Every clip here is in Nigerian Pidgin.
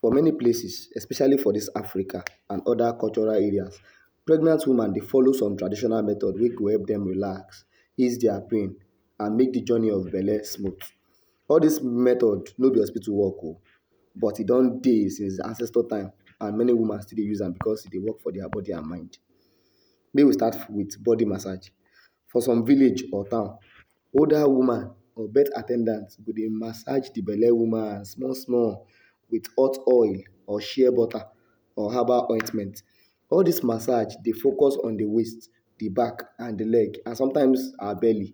For many places especially for dis Africa and oda cultural areas, pregnant woman dey follow some traditional method wey go help dem relax, ease dia pain and make di journey of belle smooth. All dis method no be hospitu work o, but e don dey since ancestor time and many woman still dey use am becos e dey work for dia bodi and mind. Make we start wit bodi massage. For some village or town, older woman or birth at ten dant go dey massage di belle woman small small wit hot oil or shear butter or herbal ointment. All dis massage dey focus on di waste, di back, and di leg and sometimes her belle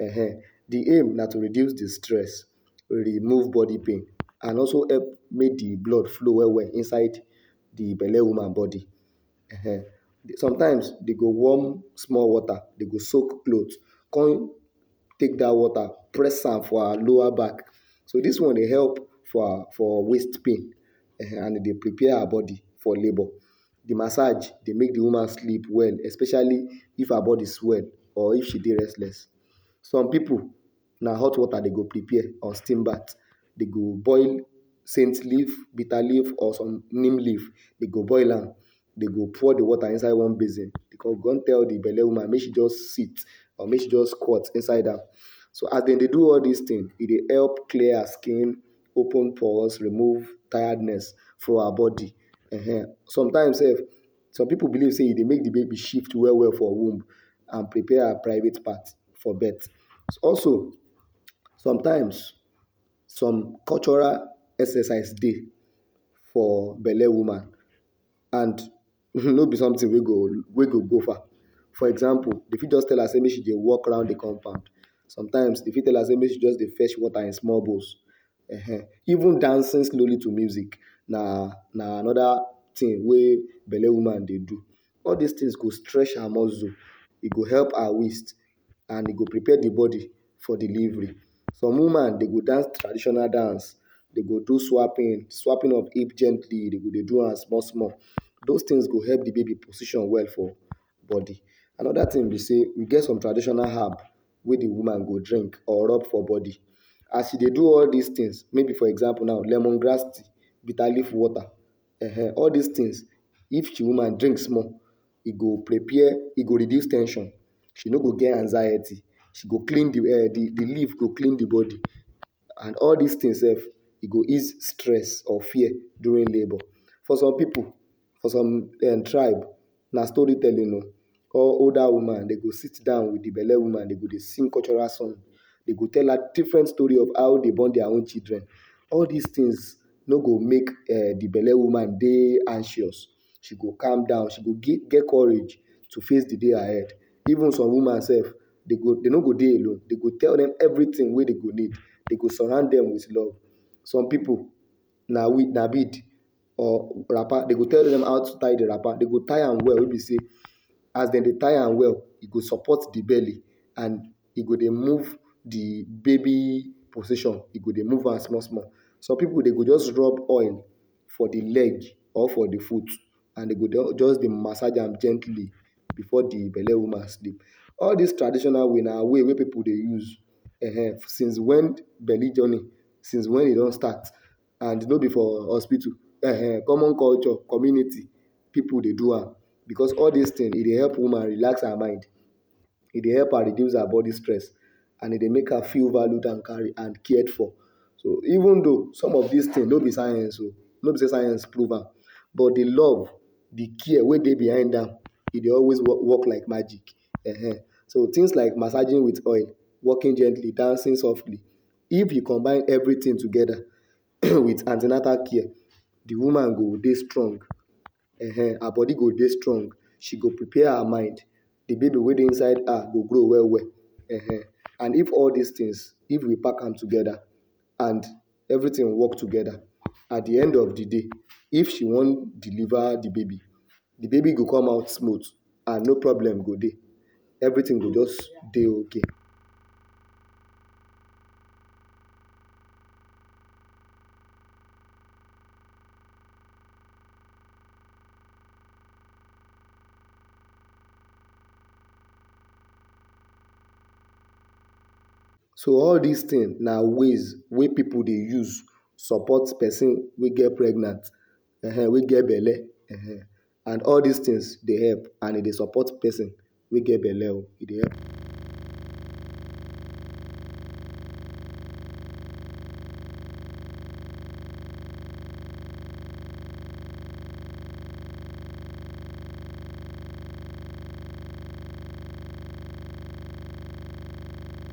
um. Di aim na to reduce di stress, remove bodi pain and also help make di blood flow well well inside di belle woman bodi um. Sometimes dem go warm small water, dem go soak cloth, come take dat water, press am for her lower back, so dis one dey work for for waist pain um and e dey prepare her bodi for labour. Di massage dey make di woman sleep well especially if her bodi swell or if she dey restless. Some pipu, na hot wota dem go prepare or steam bath. Dem go boil scent leave, bitter leave or some neem leave, dem go boil am, dem go pour di wota inside one basin, dem go come tell di belle woman make she just sit or make she just squat inside am. So as she dey do all dis tin, e dey help clear her skin, open pores, remove tiredness for her bodi um. Sometimes sef, some pipu believe say e dey make di baby shift well well for womb and prepare her private part for birth. Also sometimes, some cultural exercise dey for belle woman and, no be sometin wey e go go far. For example, dem fit tell am sey make e just dey walk round di compound, sometimes dem fit tell her sey make she just dey fetch wota in small bowls. Even dancing slowly to music na anoda tin wey belle woman dey do. All these tins go stretch her mozzul, e go help her waist and e go prepare di bodi for delivery. Some woman, dem go dance traditional dance, dem go do swaping, swaping of hip gently. Dem go dey do am small small. Dos tins go help di baby position well for bodi. Anoda tin be sey, e get some traditional herb wey di woman go drink or rub for bodi. As she dey do all these tins, maybe for example now, lemon grass, bitter leaf water um. All these tins, if di woman drink small, e go prepare e go reduce ten sion, she no go get anxiety, she go klin di um di di leave go klin di bodi and all dis tins sef, e go ease stress or fear during labour. For some pipu for some um tribe, na story telling o, all older woman, dem go sidan wit d belle woman, dem go dey sing cultural song, dem go tell her different story of how dem born dia own children. All these tins no go make um di belle woman dey anxious, she go calm down, she go get courage to face di day ahead. Even some woman sef, dem go dem no go dey alone, dem go tell dem evritin wey dem need. Dem go surround dem wit love. Some pipu na na bead um wrapper, dem go tell dem how to tie di wrapper, dem go tie am well wey be sey as dem dey tie am well, e go support di belle and e go dey move di baby position. E go dey move am small small. Some pipu, dem go just rub oil for di leg or for di foot and dem go just dey massage am gently before di belle woman sleep. All dis traditional way na way wey pipu dey use um. Since wen belle journey, since wen e don start an no be for hospitu um, common culture community pipu dey do am becos all these tin, e dey help woman relax her mind, e dey help her reduce her bodi stress and e dey make feel valued and cared for. So even tho some of these tin no be science o, no be sey science prove am but di love, di care wey behind am, e dey always work work like magic [um\. So tins like massaging wit oil, walking gently, dancing softly, if e combine everytin togeda wit an ten atal care, di woman go dey strong, um. Her bodi go dey strong, she go prepare her mind, di baby wey dey inside her go grow well well, um. And if all these tins, if we pack am togeda an everytin work togeda, at di end of di day, if she wan deliver di baby, di baby go come out smooth and no problem go dey. Everytin go just dey okay. So all these tin na ways wey pesin dey use support pesin wey get pregnant um wey get belle um and all dis tins dey help, and e dey support pesin wey get belle o. E dey help